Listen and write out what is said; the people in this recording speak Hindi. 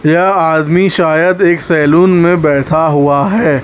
यह आदमी शायद एक सैलून में बैठा हुआ है।